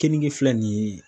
Kenige filɛ nin ye.